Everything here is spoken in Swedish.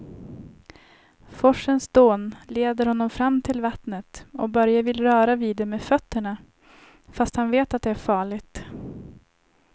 Forsens dån leder honom fram till vattnet och Börje vill röra vid det med fötterna, fast han vet att det är farligt.